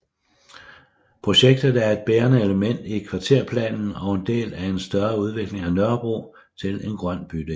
Projektet er et bærende element i Kvarterplanen og en del af en større udvikling af Nørrebro til en grøn bydel